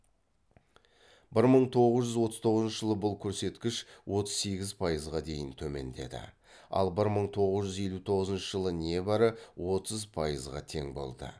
бір мың тоғыз жүз отыз тоғызыншы жылы бұл көрсеткіш отыз сегіз пайызға дейін төмендеді ал бір мың тоғыз жүз елу тоғызыншы жылы небәрі отыз пайызға тең болды